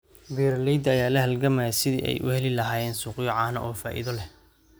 Beeralayda ayaa la halgamaya sidii ay u heli lahaayeen suuqyo caano oo faa'iido leh.